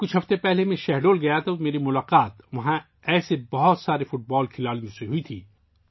جب میں چند ہفتے قبل شاہڈول گیا تھا تو میری ملاقات ایسے کئی فٹ بال کھلاڑیوں کے ساتھ ہوئی